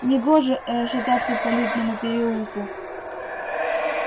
негоже э-э шататься по лютному переулку